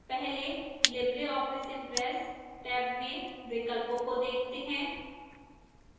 पहले libreoffice impress tab में विकल्पों को देखते हैं